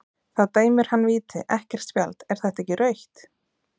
Þá dæmir hann víti, ekkert spjald, er það ekki rautt?